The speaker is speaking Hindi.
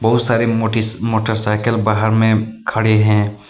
बहुत सारे मोटीस मोटरसाइकिल बाहर में खड़े हैं।